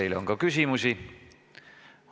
Teile on ka küsimusi.